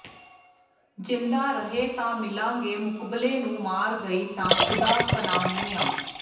ਜ਼ਿੰਦਾ ਰਹੇ ਤਾਂ ਮਿਲਾਂਗੇ ਮੁਕਬਲੇ ਨੂੰ ਮਰ ਗਈ ਤਾਂ ਖ਼ੁਦਾ ਪਨਾਹ ਮੀਆਂ